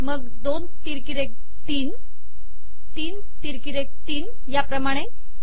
मग २ तिरकी रेघ ३ तीन तिरकी रेघ ३ याप्रमाणे